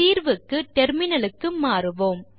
தீர்வுக்கு டெர்மினலுக்கு மாறுவோம்